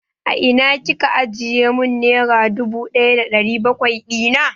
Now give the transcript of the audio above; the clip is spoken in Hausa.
A ina Kika ajiye mun nera dubu ɗaya da ɗari bakwai dina?